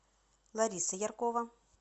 лариса яркова